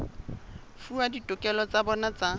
fuwa ditokelo tsa bona tsa